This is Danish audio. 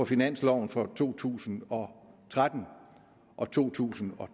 finansloven for to tusind og tolv og to tusind og